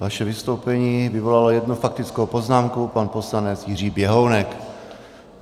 Vaše vystoupení vyvolalo jednou faktickou poznámku - pan poslanec Jiří Běhounek.